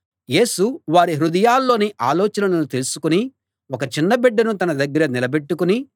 యేసు వారి హృదయాల్లోని ఆలోచనలను తెలుసుకుని ఒక చిన్న బిడ్డను తన దగ్గర నిలబెట్టుకుని